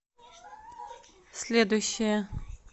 следующая